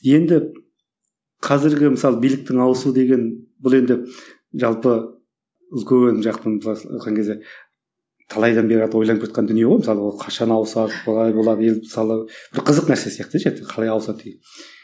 енді қазіргі мысалы биліктің ауысу деген бұл енді жалпы үлкен жақтың айтқан кезде талайдан бері қарата ойланып келе жатқан дүние ғой мысалы ол қашан ауысады қалай болады ел мысалы бір қызық нәрсе сияқты деші қалай ауысады деген